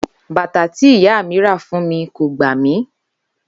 Bàtà tí ìyá mi rà fún mi kò gbà mí